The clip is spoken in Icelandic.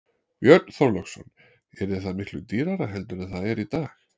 Björn Þorláksson: Yrði það miklu dýrara heldur en það er í dag?